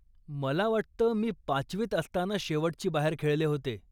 मला वाटतं, मी पाचवीत असताना शेवटची बाहेर खेळले होते.